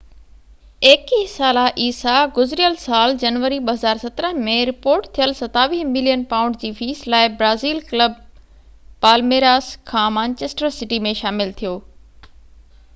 21 ساله عيسي گذريل سال جنوري 2017 ۾ رپورٽ ٿيل 27 ملين پائونڊ جي فيس لاءِ برازيل ڪلب پالميراس کان مانچسٽر سٽي ۾ شامل ٿيو